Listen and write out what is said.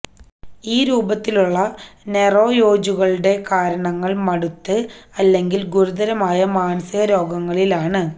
ഈ രൂപത്തിലുള്ള നൊറോയേജുകളുടെ കാരണങ്ങൾ മടുത്ത് അല്ലെങ്കിൽ ഗുരുതരമായ മാനസികരോഗങ്ങളിലാണ്